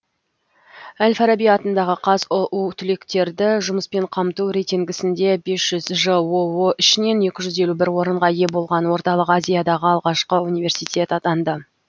әл фараби атындағы қазұу түлектерді жұмыспен қамту рейтингісінде бес жүз жоо ішінен екі жүз елу бір орынға ие болған орталық азиядағы алғашқы университет атанды